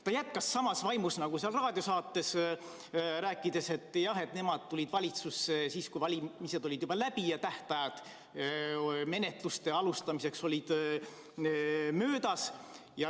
Ta jätkas samas vaimus nagu seal raadiosaates rääkides, et nemad tulid valitsusse siis, kui valimised olid juba läbi ja tähtajad menetluste alustamiseks möödas.